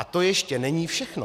A to ještě není všechno.